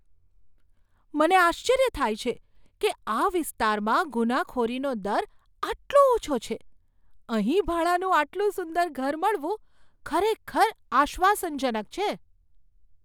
મને આશ્ચર્ય થાય છે કે આ વિસ્તારમાં ગુનાખોરીનો દર આટલો ઓછો છે! અહીં ભાડાનું આટલું સુંદર ઘર મળવું ખરેખર આશ્વાસનજનક છે.